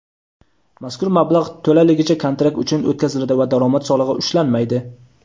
mazkur mablag‘ to‘laligicha kontrakt uchun o‘tkaziladi va daromad solig‘i ushlanmaydi.